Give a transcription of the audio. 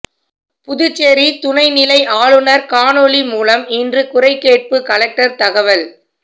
புதுச்சேரி துணை நிலை ஆளுநர் காணொளி மூலம் இன்று குறைகேட்பு கலெக்டர் தகவல்